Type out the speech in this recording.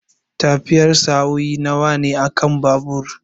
Tafiyar sa'o'i nawa ne akan babur?